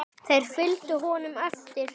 Þeir fylgdu honum eftir.